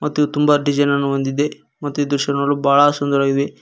ಮತ್ತು ಇದು ತುಂಬಾ ಡಿಸೈನ್ ನನ್ನು ಹೊಂದಿದೆ ಮತ್ತು ಇದು ಸಹ ನೋಡಲೂ ಬಹಳ ಸುಂದರವಾಗಿದೆ.